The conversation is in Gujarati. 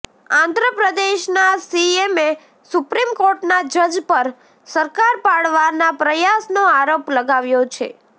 આંધ્રપ્રદેશના સીએમએ સુપ્રીમ કોર્ટના જજ પર સરકાર પાડવાના પ્રયાસનો આરોપ લગાવ્યો છે